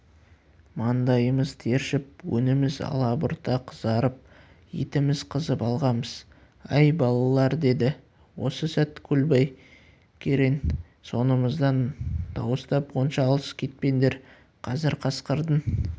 маңдайымыз тершіп өңіміз алабұрта қызарып етіміз қызып алғанбыз әй балалар деді осы сәт көлбай керең соңымыздан дауыстап онша алыс кетпеңдер қазір қасқырдың